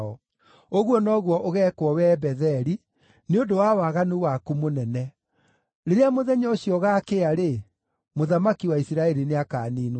Ũguo noguo ũgeekwo wee Betheli, nĩ ũndũ wa waganu waku mũnene. Rĩrĩa mũthenya ũcio ũgaakĩa-rĩ, mũthamaki wa Isiraeli nĩakaniinwo biũ.